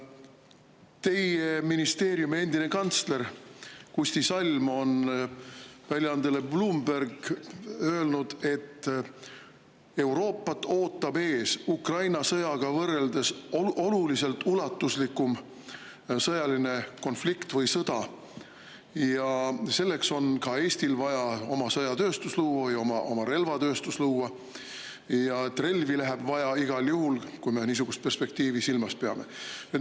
Teie ministeeriumi endine kantsler Kusti Salm on öelnud väljaandele Bloomberg, et Euroopat ootab ees Ukraina sõjaga võrreldes oluliselt ulatuslikum sõjaline konflikt või sõda ja seetõttu on ka Eestil vaja luua oma sõjatööstus, oma relvatööstus, ja relvi läheb vaja igal juhul, kui me niisugust perspektiivi silmas peame.